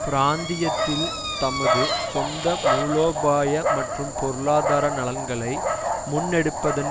பிராந்தியத்தில் தமது சொந்த மூலோபாய மற்றும் பொருளாதார நலன்களை முன்னெடுப்பதன்